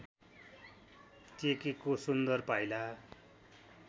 टेकेको सुन्दर पाइला